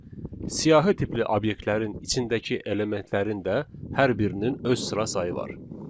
Siyahı tipli obyektlərin içindəki elementlərin də hər birinin öz sıra sayı var.